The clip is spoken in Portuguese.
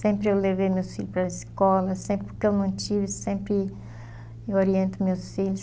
Sempre eu levei meus filhos para a escola, sempre, porque eu não tive, sempre eu oriento meus filhos.